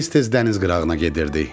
Tez-tez dəniz qırağına gedirdik.